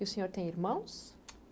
E o senhor tem irmãos?